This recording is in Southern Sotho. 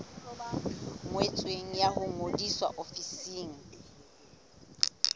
ngotsweng ya ho ngodisa ofising